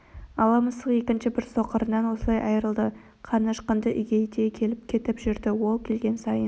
ала мысық екінші бір соқырынан осылай айрылды қарны ашқанда үйге де келіп-кетіп жүрді ол келген сайын